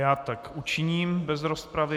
Já tak učiním bez rozpravy.